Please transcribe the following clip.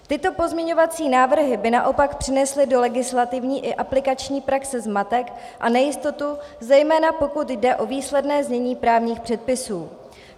Tyto pozměňovací návrhy by naopak přinesly do legislativní i aplikační praxe zmatek a nejistotu, zejména pokud jde o výsledné znění právních předpisů.